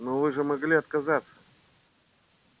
но вы же могли отказаться